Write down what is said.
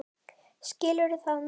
Skilur það núna.